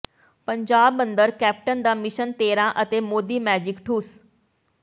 ਪੰਜਾਬ ਅੰਦਰ ਕੈਪਟਨ ਦਾ ਮਿਸ਼ਨ ਤੇਰ੍ਹਾਂ ਅਤੇ ਮੋਦੀ ਮੈਜਿਕ ਠੁੱਸ